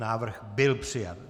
Návrh byl přijat.